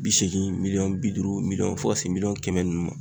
Bi seegin miliyɔn bi duuru miliyɔn fo ka se miliyɔn kɛmɛ ninnu ma.